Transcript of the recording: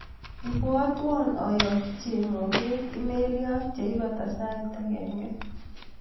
Ibwatwa ayakchi chemoget imeliot yeibata sait agenge.